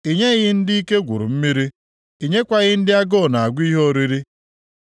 I nyeghị ndị ike gwuru mmiri, i nyeghịkwa ndị agụụ na-agụ ihe oriri.